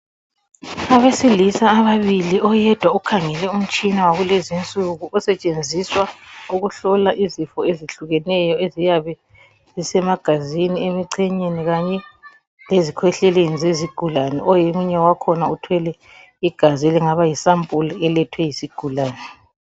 Abesilisa ababili oyedwa ukhangele umtshina wakulezinsuku osetshenziswa ukuhlola izifo ezihlukeneyo eziyabe zisemagazini emichenyeni kanye lezikhwehleleni zezigulani oyedwa omunye wakhona uthwele igazi ilangaba yisampuli elethwe yisigulani.